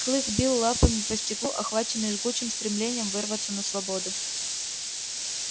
клык бил лапами по стеклу охваченный жгучим стремлением вырваться на свободу